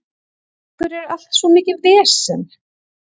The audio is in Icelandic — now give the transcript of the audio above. Af hverju er allt svona mikið vesen?